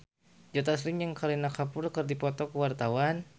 Joe Taslim jeung Kareena Kapoor keur dipoto ku wartawan